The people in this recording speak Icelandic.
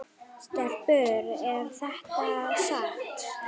Stelpur er þetta satt?